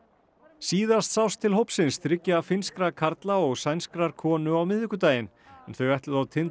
síðast sást til hópsins þriggja finnskra karla og sænskrar konu á miðvikudaginn þau ætluðu á tind